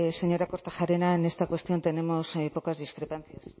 señora kortajarena en esta cuestión tenemos pocas discrepancias